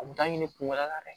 A kun t'a ɲini kun wɛrɛ la dɛ